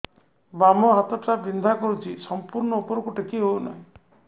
ବାମ ହାତ ଟା ବିନ୍ଧା କରୁଛି ସମ୍ପୂର୍ଣ ଉପରକୁ ଟେକି ହୋଉନାହିଁ